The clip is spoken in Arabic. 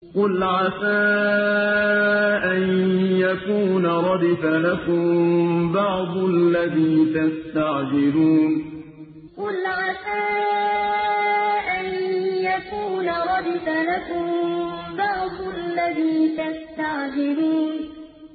قُلْ عَسَىٰ أَن يَكُونَ رَدِفَ لَكُم بَعْضُ الَّذِي تَسْتَعْجِلُونَ قُلْ عَسَىٰ أَن يَكُونَ رَدِفَ لَكُم بَعْضُ الَّذِي تَسْتَعْجِلُونَ